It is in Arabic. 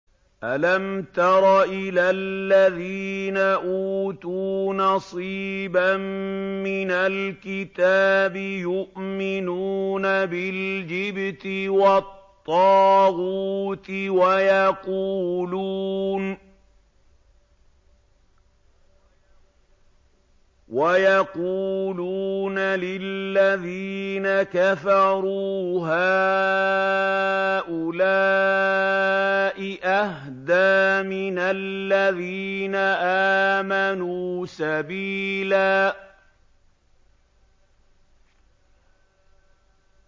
أَلَمْ تَرَ إِلَى الَّذِينَ أُوتُوا نَصِيبًا مِّنَ الْكِتَابِ يُؤْمِنُونَ بِالْجِبْتِ وَالطَّاغُوتِ وَيَقُولُونَ لِلَّذِينَ كَفَرُوا هَٰؤُلَاءِ أَهْدَىٰ مِنَ الَّذِينَ آمَنُوا سَبِيلًا